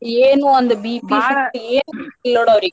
ಏನ್ ಒಂದು .